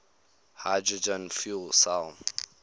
hydrogen fuel cell